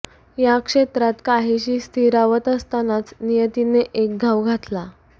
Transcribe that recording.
या क्षेत्रात काहीशी स्थिरावत असतानाच नियतीने एक घाव घातला